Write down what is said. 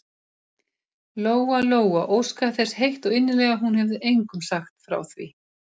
Lóa-Lóa óskaði þess heitt og innilega að hún hefði engum sagt frá því.